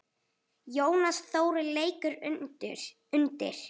Jónas Þórir leikur undir.